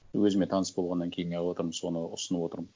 өзіме таныс болғаннан кейін не қылып отырмын соны ұсынып отырмын